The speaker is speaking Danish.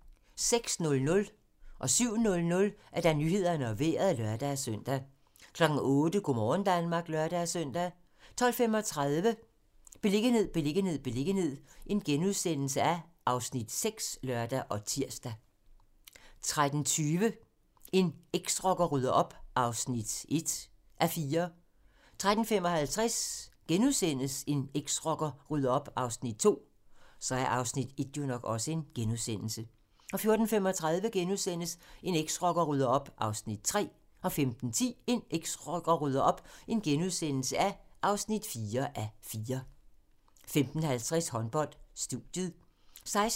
06:00: Nyhederne og Vejret (lør-søn) 07:00: Nyhederne og Vejret (lør-søn) 08:00: Go' morgen Danmark (lør-søn) 12:35: Beliggenhed, beliggenhed, beliggenhed (Afs. 6)*(lør og tir) 13:20: En eksrocker rydder op (1:4) 13:55: En eksrocker rydder op (2:4)* 14:35: En eksrocker rydder op (3:4)* 15:10: En eksrocker rydder op (4:4)* 15:50: Håndbold: Studiet 16:05: Håndbold: GOG-Aalborg (m)